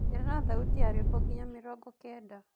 ongerera thaũtĩ ya rwĩmbo nginya mĩrongo kenda